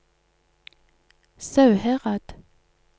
Sauherad